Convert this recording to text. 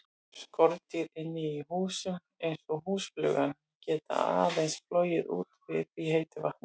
Skordýr inni í húsum, eins og húsflugan, geta aðeins flogið úti við í heitu veðri.